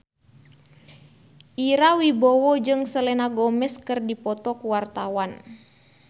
Ira Wibowo jeung Selena Gomez keur dipoto ku wartawan